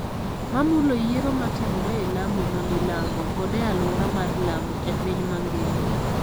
ma mulo yiero ma timore e Lamu ma milambo kod e alwora mar Lamu e piny mangima.